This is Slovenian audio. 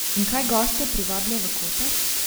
In kaj goste privablja v Koper?